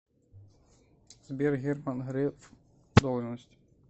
сбер герман греф должность